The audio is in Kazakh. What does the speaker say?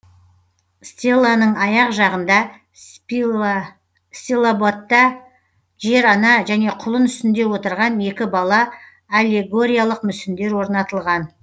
стеланың аяқ жағында стилобатта жер ана және құлын үстінде отырған екі бала аллегориялық мүсіндер орнатылған